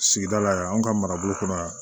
Sigida la yan anw ka marabolo kɔnɔ yan